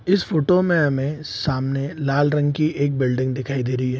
इस फोटो में हमें सामने लाल रंग की एक बिल्डिंग दिखाई दे रही है।